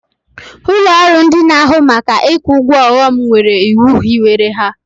Ụlọrụ ndị n'ahụ maka ikwu ụgwọ ọghọm nwere iwu hiwere ha.